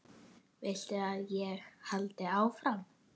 Viltu að ég haldi áfram?